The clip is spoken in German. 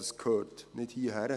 Das gehört nicht hierhin.